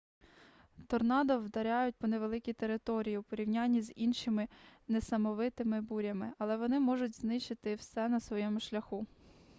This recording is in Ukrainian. торнадо вдаряють по невеликій території у порівнянні з іншими несамовитими бурями але вони можуть знищити все на своєму шляху